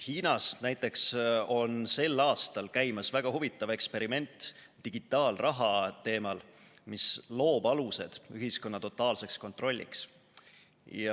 Hiinas on sel aastal käimas näiteks väga huvitav eksperiment digitaalraha teemal, mis loob alused ühiskonna totaalseks kontrolliks.